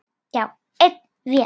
Já, einn vetur.